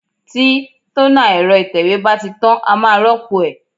Tí tónà ẹ̀rọ ìtẹ̀wé bá ti tán, a máa rópò ẹ̀.